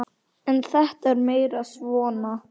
En þetta er meira svona.